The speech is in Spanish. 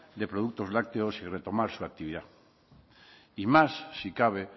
de productos lácteos y retomar su actividad y más si cabe